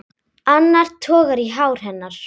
Annar togar í hár hennar.